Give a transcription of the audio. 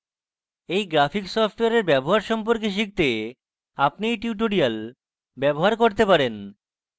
you graphic সফটওয়্যারের ব্যবহার সম্পর্কে শিখতে আপনি you tutorials ব্যবহার করতে পারেন